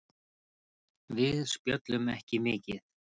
Við spjölluðum ekki mikið.